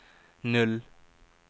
null